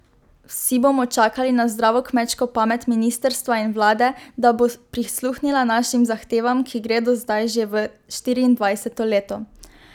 Vsi bomo čakali na zdravo kmečko pamet ministrstva in vlade, da bo prisluhnila našim zahtevam, ki gredo zdaj že v štiriindvajseto leto.